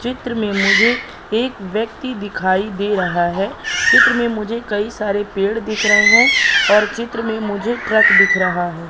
चित्र मे मुझे एक व्यक्ति दिखाई दे रहा है चित्र में मुझे कई सारे पेड़ दिख रहे हैं और चित्र में मुझे ट्रक दिख रहा है।